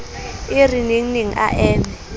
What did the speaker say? e re nengneng a eme